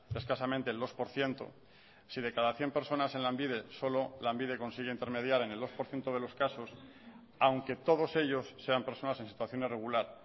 escasamente el dos por ciento si de cada cien personas en lanbide solo lanbide consigue intermediar en el dos por ciento de los casos aunque todos ellos sean personas en situación irregular